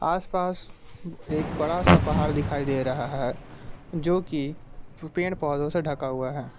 आसपास एक बड़ा सा पहाड़ दिखाई दे रहा है जो कि पेड़ पौधों से ढका हुआ है।